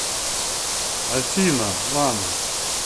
афина лана